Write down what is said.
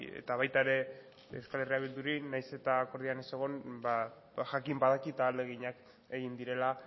eta baita ere euskal herria bilduri nahiz eta akordioan ez egon jakin badakit ahaleginak egin direla